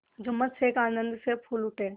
जुम्मन शेख आनंद से फूल उठे